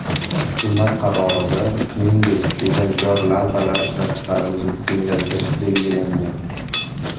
Hukumat qarorida, shuningdek, tejamkor lampalar ishlab chiqarilishini kengaytirish belgilangan.